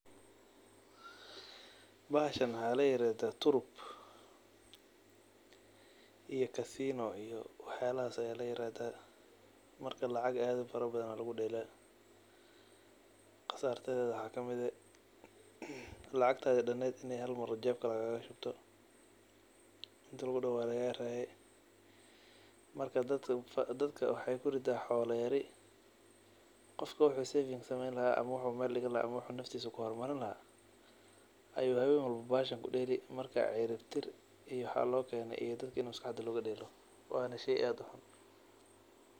Bahashaan waxa laa yirahdaa turub iyo casino iyo waxyalahaas aya laa yirahdaa markaa lacaag aad ufaraa baadana laguu dhelaa. qasartadeeda waxa kamiid eeh lacagtaadi dhaneed inii haal maar jeebka lagaaga shubtoo intii laguu daaho waa lagaa reyee markaa dadkaa waxey kuriida xolaa yaari qofkaa wuxu saving sameyn lahaa ama wuxu mel dhiigi lahaa ama wuxu naftiisa kuu hormaarin laha ayuu hawen walbo bahashaan kuu dhelii markaa ciriib tiir iyo waxa loo keene iyo dadkaa maskaxdaa logaa dheelo wanaa sheey aad uu xuun.